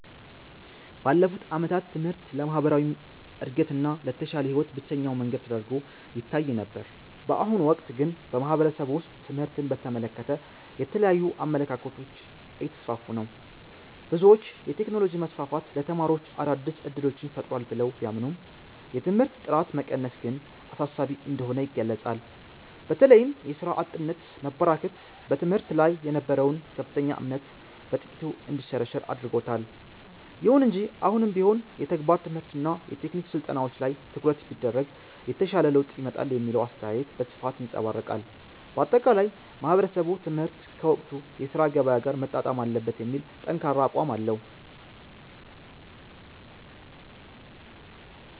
ባለፉት ዓመታት ትምህርት ለማህበራዊ እድገትና ለተሻለ ህይወት ብቸኛው መንገድ ተደርጎ ይታይ ነበር። በአሁኑ ወቅት ግን በማህበረሰቡ ውስጥ ትምህርትን በተመለከተ የተለያዩ አመለካከቶች እየተስፋፉ ነው። ብዙዎች የቴክኖሎጂ መስፋፋት ለተማሪዎች አዳዲስ እድሎችን ፈጥሯል ብለው ቢያምኑም፣ የትምህርት ጥራት መቀነስ ግን አሳሳቢ እንደሆነ ይገልጻሉ። በተለይም የሥራ አጥነት መበራከት በትምህርት ላይ የነበረውን ከፍተኛ እምነት በጥቂቱ እንዲሸረሸር አድርጎታል። ይሁን እንጂ አሁንም ቢሆን የተግባር ትምህርትና የቴክኒክ ስልጠናዎች ላይ ትኩረት ቢደረግ የተሻለ ለውጥ ይመጣል የሚለው አስተያየት በስፋት ይንፀባረቃል። ባጠቃላይ ማህበረሰቡ ትምህርት ከወቅቱ የሥራ ገበያ ጋር መጣጣም አለበት የሚል ጠንካራ አቋም አለው።